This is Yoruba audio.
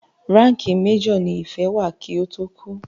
Ránkìì major ní Ìfẹ́ wà kí ó tó kú.